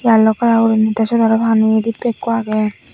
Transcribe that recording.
yellow colour guri the sut aro pani dibbe ekku agey.